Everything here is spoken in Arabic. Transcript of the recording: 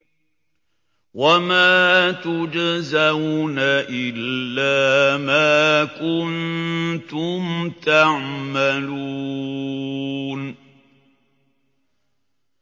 وَمَا تُجْزَوْنَ إِلَّا مَا كُنتُمْ تَعْمَلُونَ